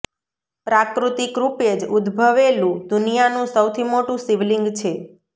પ્રાકૃતિક રૂપે જ ઉદ્દભવેલું દુનિયાનું સૌથી મોટું શિવલિંગ છે